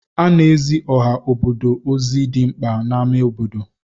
Ana-ezi ọha obodo ozi dị mkpa n'amá obodo.